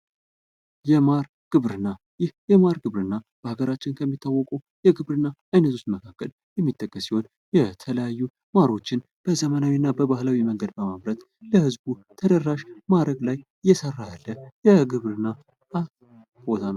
የማር ግብርና ይህ የማር ግብርና ሀገራችንን ከሚታወቁ የግብርና አይነቶች መካከል የሚጠቀስ ሲሆን የተለያዩ ማሮችን በዘመናዊ እና በባህላዊ መንገድ በማምረት ለህዝቡ ተደራሽ ማድረግ ላይ እየሰራ ያለ የግብርና ቦታ ነው ::